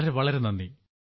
വളരെ വളരെ നന്ദി